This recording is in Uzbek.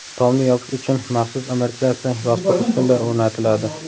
Tomni yopish uchun maxsus amortizatsiya yostiq ustunlar o‘rnatiladi.